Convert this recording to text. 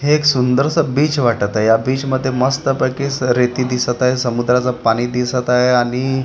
हे एक सुंदरसं बीच वाटत आहे या बीच मध्ये मस्तपैकी रेती दिसत आहे समुद्राचं पाणी दिसत आहे आणि--